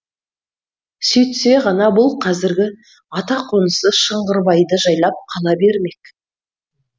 сөйтсе ғана бұл қазіргі ата қонысы шыңғырбайды жайлап қала бермек